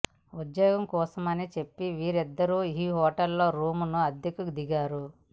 ఉద్యోగం కోసమని చెప్పి వీరిద్దరూ ఈ హోటల్లో రూమ్ ను అద్దెకు దిగారు